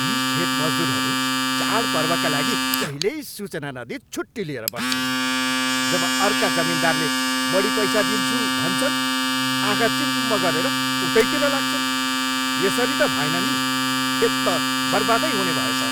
यी खेत मजदुरहरू चाडपर्वका लागि जहिल्यै सूचना नदिई छुट्टी लिएर बस्छन्। जब अर्का जमिनदारले बढी पैसा दिन्छु भन्छन्, आँखा चिम्म गरेर उतैतिर लाग्छन्। यसरी त भएन नि! खेत त बर्बादै हुनेभयो त!